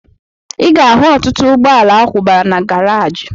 Ị ga-ahụ ọtụtụ ụgbọala akwụbara na garaji